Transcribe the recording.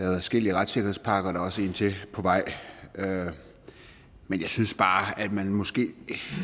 adskillige retssikkerhedspakker og der er også en til på vej men jeg synes bare at man måske